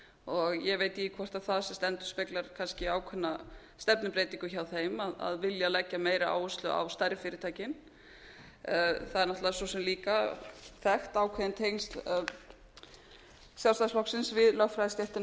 og ég veit ekki hvort það sem sagt endurspeglar kannski ákveðna stefnubreytingu hjá þeim að vilja leggja meiri áherslu á stærri fyrirtækin það eru náttúrlega svo sem líka þekkt ákveðin tengsl sjálfstæðisflokksins við lögfræðistéttina og það getur vel